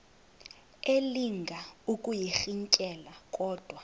elinga ukuyirintyela kodwa